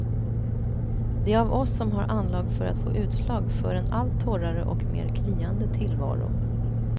De av oss som har anlag för att få utslag för en allt torrare och mer kliande tillvaro.